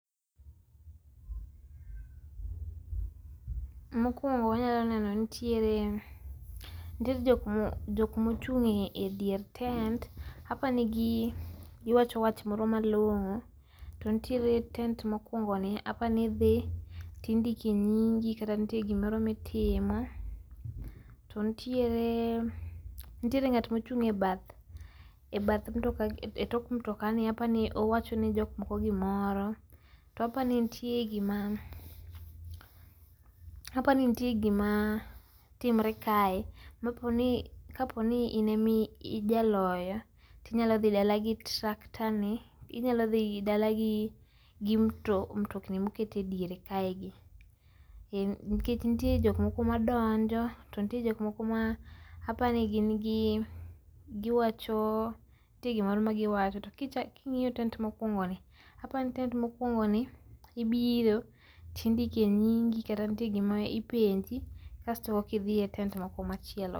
Mokuongo wanyalo neno ni nitire jok ma ochunge' dier tent apani gi giwacho wach moro malongo' to nitiere tent mokuongni apanithi to indiko e nyingi kata nitie gimoro ma itimo to nitire ngat ma ochung' e bath e tok mtokani apani owacho ne jokmoko gimoro to apani nitie gima apani nitie gima timore kae kaponi in ema ijaloyo to inyalo thi dala gi tractor ni inyalo dhi dala gi mtokni ma oket e diere kae gi nikech nitiere jok moko ma donjo to nitie jokmoko maa apani gin gi giwacho nitie gik moko ma ma giwacho to kingi'yo tent mokuongoni apani tent ma okuongoni pibiro to indoko nyigi kata nitiere gik ma ipenji kasto ekithie e tent moko machielo.